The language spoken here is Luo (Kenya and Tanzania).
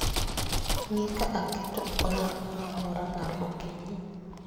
Ng'i ka be aketo olang' moro amora mar okinyi